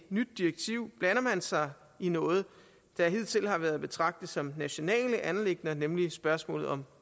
nyt direktiv blander man sig i noget der hidtil har været at betragte som nationale anliggender nemlig spørgsmålet om